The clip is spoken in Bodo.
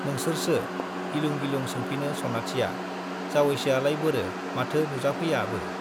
नोंसोरसो? गिलुं-गिलुं सोंफिनो सनाथिया। जावैसोआलाय बोरो, माथो नुजाफैयाबो?